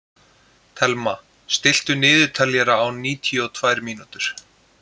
Thelma, stilltu niðurteljara á níutíu og tvær mínútur.